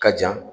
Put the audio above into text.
Ka jan